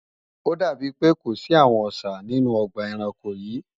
Ó dàbí pé kò sí àwọn Ọṣà nínú ọgbà ẹranko yìí